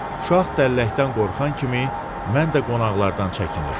Uşaq dəlləkdən qorxan kimi mən də qonaqlardan çəkinirdim.